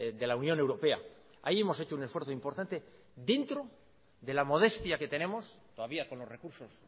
de la unión europea ahí hemos hecho un esfuerzo importante dentro de la modestia que tenemos todavía con los recursos